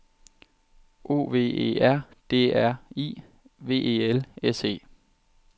O V E R D R I V E L S E